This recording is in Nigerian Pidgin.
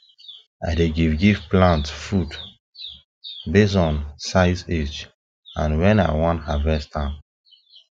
i dey give give plant food based on size age and when i wan harvest am